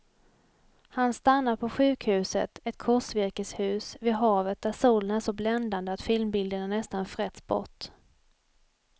Han stannar på sjukhuset, ett korsvirkeshus vid havet där solen är så bländande att filmbilderna nästan frätts bort.